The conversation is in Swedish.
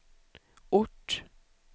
ort